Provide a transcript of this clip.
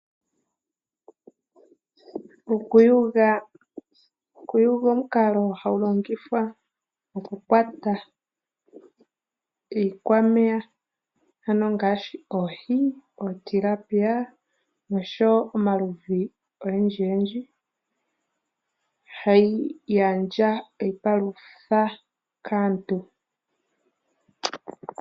Okuyuga, okuyuga omukalo hagu longithwa oku kwata iikwameya ano ngaashi oohi omakende noshowo omaludhi ogendji gendji hayi gandja iipalutha kaantu.